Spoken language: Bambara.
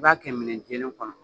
b'a kɛ minɛ jɛlen kɔnɔ.